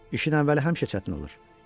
İşin əvvəli həmişə çətin olur.